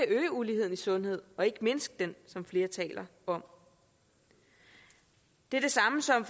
øge uligheden i sundhed og ikke mindske den som flere taler om det er det samme som